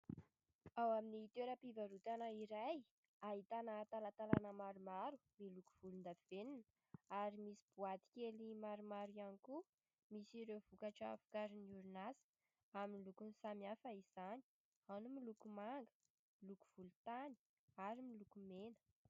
Ao amin'ny toeram-pivarotana iray, ahitana talantalana maromaro miloko volondavenina ary misy boaty kely maromaro ihany koa misy ireo vokatra vokarin'ny orin'asa amin'ny lokony samihafa izany : ao ny miloko manga, miloko volontany ary miloko mena.